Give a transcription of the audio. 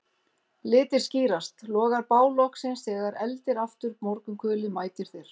Litir skýrast, logar bál loksins þegar eldir aftur morgunkulið mætir þér